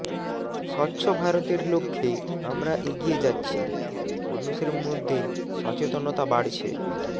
স্বচ্ছ ভারতের লক্ষ্যে আমরা এগিয়ে যাচ্ছি মানুষের মধ্য সচেতনা বাড়ছে